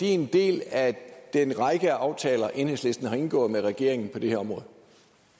en del af den række af aftaler enhedslisten har indgået med regeringen på det her